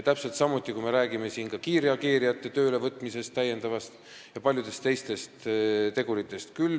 Täpselt samuti võib siin rääkida kiirreageerijate täiendavast töölevõtmisest ja paljudest teistest teguritest.